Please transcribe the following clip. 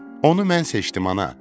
Onu mən seçdim, ana.